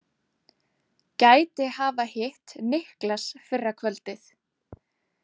Gæti hafa hitt Niklas fyrra kvöldið.